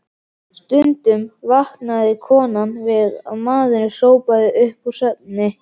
Stundum vaknaði konan við að maðurinn hrópaði upp úr svefni: